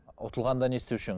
ұтылғанда не істеуші едің